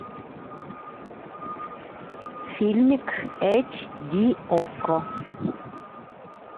фильмик эйч ди окко